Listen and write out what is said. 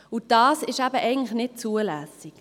Eigentlich ist dies eben nicht zulässig.